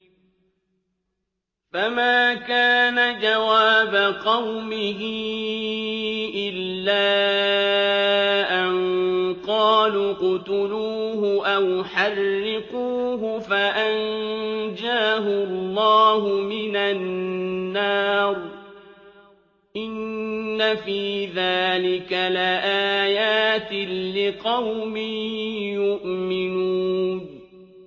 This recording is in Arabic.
فَمَا كَانَ جَوَابَ قَوْمِهِ إِلَّا أَن قَالُوا اقْتُلُوهُ أَوْ حَرِّقُوهُ فَأَنجَاهُ اللَّهُ مِنَ النَّارِ ۚ إِنَّ فِي ذَٰلِكَ لَآيَاتٍ لِّقَوْمٍ يُؤْمِنُونَ